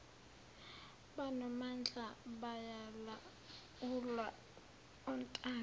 banomdlandla bayalawulwa ontanga